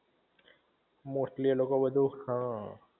mostly એ લોકો બધુ હઅ